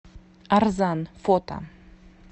арзан фото